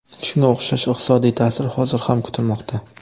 Shunga o‘xshash iqtisodiy ta’sir hozir ham kutilmoqda.